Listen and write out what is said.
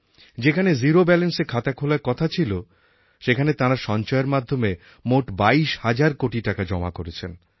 যেখানে জিরো ব্যালান্সএ খাতা খোলার কথা ছিল সেখানে তাঁরা সঞ্চয়ের মাধ্যমে মোট বাইশ হাজার কোটি টাকা জমা করেছেন